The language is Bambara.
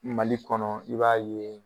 Mali kɔnɔ i b'a ye